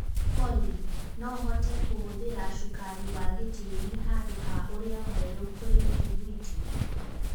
olly no hote kũhũthĩra cukari wa gĩĩtĩri handũ ha ũrĩa mwerũ kũri mĩthũguiti